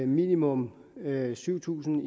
minimum syv tusind